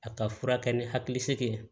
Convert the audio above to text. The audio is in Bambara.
A ka furakɛ ni hakili sigi ye